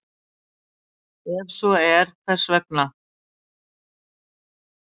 Ef svo er, hvers vegna?